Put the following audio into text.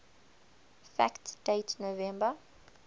fact date november